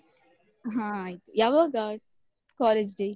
ಹ ಆಯ್ತು, ಯಾವಾಗ college day?